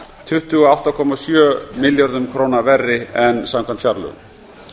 tuttugu og átta komma sjö milljörðum króna verri en samkvæmt fjárlögum